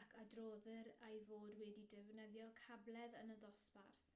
ac adroddir ei fod wedi defnyddio cabledd yn y dosbarth